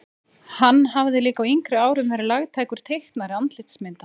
Hann hafði líka á yngri árum verið lagtækur teiknari andlitsmynda.